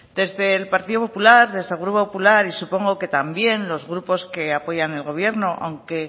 desde el partido popular desde el grupo popular y supongo que también los grupos que apoyan al gobierno aunque